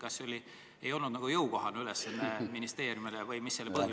Kas see ülesanne ei olnud ministeeriumile jõukohane või oli sel muu põhjus?